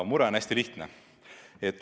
Mure on hästi lihtne.